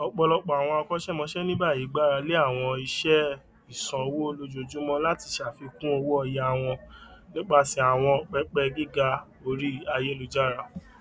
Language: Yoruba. ọpọlọpọ àwọn akósẹmòsẹ ní báyìí gbaralé àwọn iṣẹ ìsanwó lójoojúmọ láti ṣàfikún owóoyà wọn nípasẹ àwọn pẹpẹ gíga orí ayélujára